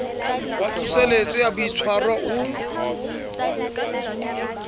wa tsoseletso ya boitshwaro o